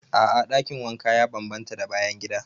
A'a dakin wanka ya bambanta da bayan gida.